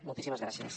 moltíssimes gràcies